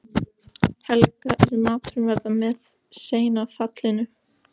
Helga en maturinn verður með seinna fallinu.